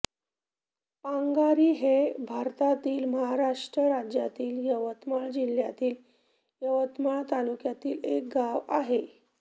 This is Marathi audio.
पांगारी हे भारतातील महाराष्ट्र राज्यातील यवतमाळ जिल्ह्यातील यवतमाळ तालुक्यातील एक गाव आहे